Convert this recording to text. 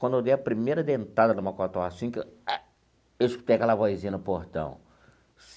Quando eu dei a primeira dentada no macotó, assim que eu... Eu escutei aquela vozinha no portão.